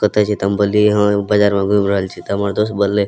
कत छहि ? त हम बोललिय ह बाजार में घूम रहल छी त हमर दोस्त बोलइ --